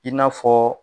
I n'a fɔ